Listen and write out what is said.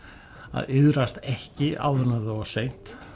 að iðrast ekki áður en orðið of seint